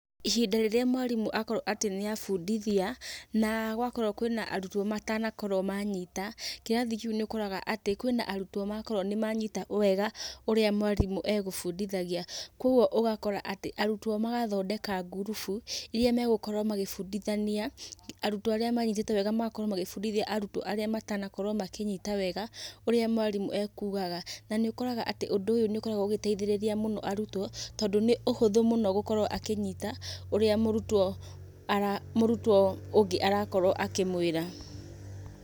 Ihinda rĩrĩa mwarimũ akorwo atĩ nĩ abundithia, na gwakorwo kwĩna arutwo matanakorwo manyita, kĩrathi kĩu nĩũkoraga kwĩna arutwo makorwo nĩ manyita wega ũrĩa mwarimũ egũbundithanagia. Koguo ũgakora atĩ, arutwo magathondeka ngurubu iria megũkorwo magĩbundithania arutwo arĩa manyitĩte wega magakorwo magĩbundithia arutwo arĩa matanakorwo makĩnyita wega ũrĩa mwarimũ ekugaga. Na nĩ ũkoraga atĩ ũndũ ũyũ nĩ ũkoragwo ũgĩteithĩrĩria mũno arutwo, tondũ nĩ ũhũthũ mũno gũkorwo akĩnyita ũrĩa mũrutwo ũngĩ arakorwo akĩmwĩra.